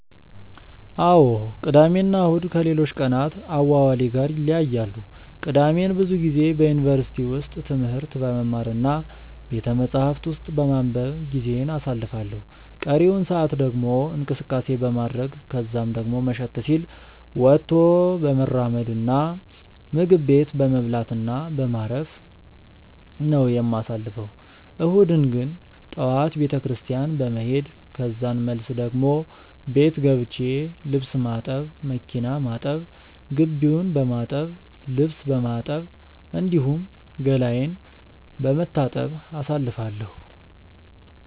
አዎ ቅዳሜ እና እሁድ ከሌሎች ቀናት አዋዋሌ ጋር ይለያያሉ። ቅዳሜን ብዙ ጊዜ በዩኒቨርሲቲ ውስጥ ትምህርት በመማር እና ቤተመጻሕፍት ውስጥ በማንበብ ጊዜዬን አሳልፋለሁ ቀሪውን ሰአት ደግሞ እንቅስቀሴ በማድረረግ ከዛን ደሞ መሸት ሲል ወጥቶ በመራመድ እና ምግብ ቤት በመብላት እና በማረፍ በማረፍ ነው የማሳልፈው። እሁድን ግን ጠዋት ቤተክርስትያን በመሄድ ከዛን መልስ ደሞ ቤት ገብቼ ልብስ ማጠብ፣ መኪና ማጠብ፣ ግቢውን በማጠብ፣ ልብስ በማጠብ፣ እንዲሁም ገላዬን በመታጠብ አሳልፋለሁ።